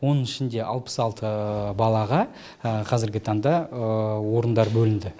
оның ішінде алпыс алты балаға қазіргі таңда орындар бөлінді